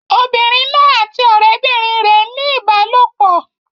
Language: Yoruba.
Obìnrin náà àti ọ̀rẹ́bìnrin rẹ̀ ń ní ìbálòpọ̀.